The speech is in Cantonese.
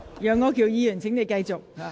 楊議員，請繼續發言。